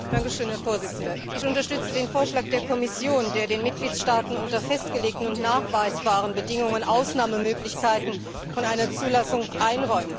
Herr Präsident! Ich unterstütze den Vorschlag der Kommission, der den Mitgliedstaaten unter festgelegten und nachweisbaren Bedingungen die Möglichkeit von Ausnahmen von einer Zulassung einräumt.